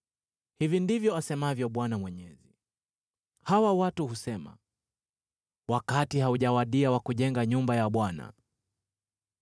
Hivi ndivyo asemavyo Bwana Mwenye Nguvu Zote: “Hawa watu husema, ‘Wakati haujawadia wa kujenga nyumba ya Bwana .’”